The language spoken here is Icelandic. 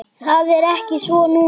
Það er ekki svo núna.